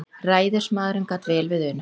Ræðismaðurinn gat vel við unað.